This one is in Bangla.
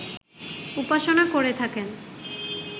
উপাসনা করে থাকেন